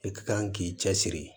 I ka kan k'i cɛ siri